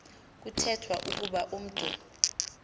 kuthethwa ukuba umntu